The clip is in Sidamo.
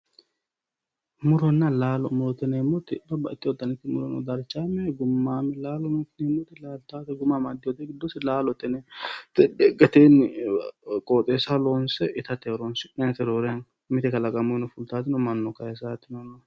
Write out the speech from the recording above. Muronna laalo yineemmoti babbaxxitewotta muro darchame gumame muro no, laalote yineemmoti guma amadinote giddose laalote gateni qooxxeessaho loonse itate horonsi'nannite, mite kalaqamunni fultanotino no.